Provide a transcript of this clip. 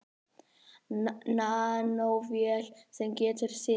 Nanóvél sem getur synt.